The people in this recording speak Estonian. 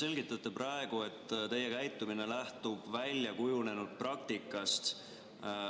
Te selgitate praegu, et teie käitumine lähtub väljakujunenud praktikast.